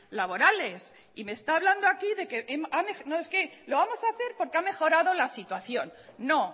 laborales y me está hablando aquí de que no es que lo vamos a hacer porque ha mejorado la situación no